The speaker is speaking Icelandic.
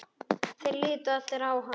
Þeir litu allir á hann.